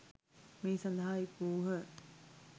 මේ සඳහා එක් වූහ.